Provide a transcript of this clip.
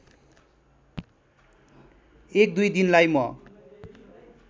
१ २ दिनलाई म